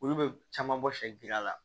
Olu bɛ caman bɔ sɛgɛrɛ la